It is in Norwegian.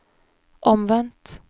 omvendt